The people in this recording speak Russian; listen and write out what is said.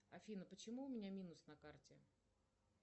афина почему у меня минус на карте